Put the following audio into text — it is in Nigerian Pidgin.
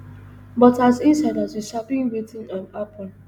but as insiders we sabi wetin um happun